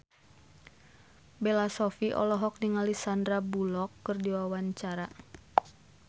Bella Shofie olohok ningali Sandar Bullock keur diwawancara